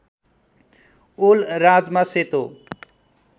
ओल राजमा सेतो